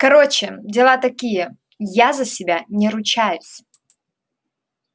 короче дела такие я за себя не ручаюсь